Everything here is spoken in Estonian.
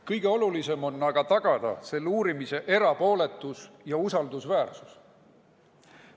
Kõige olulisem on aga tagada selle uurimise erapooletus ja usaldusväärsus.